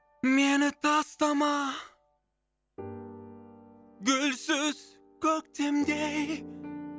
мені тастама бүрсіз көктемдей